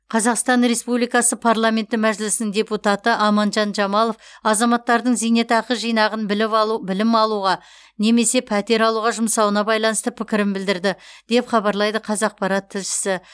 қазақстан республикасы парламенті мәжілісінің депутаты аманжан жамалов азаматтардың зейнетақы жинағын біліп білім алуға немесе пәтер алуға жұмсауына байланысты пікірін білдірді деп хабарлайды қазақпарат тілшісі